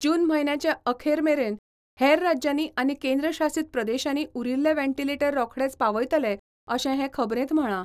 जून म्हयन्याचे अखेर मेरेन हेर राज्यांनी आनी केंद्र शासीत प्रदेशांनी उरिल्ले वेंटिलेटर रोखडेच पावयतले अशें हे खबरेंत म्हळां.